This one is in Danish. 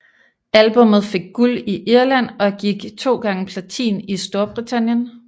Albummet fik guld i Irland og gik 2x platin i Storbritannien